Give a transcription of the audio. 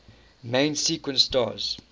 main sequence stars